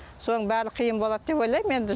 соның бәрі қиын болады деп ойлаймын енді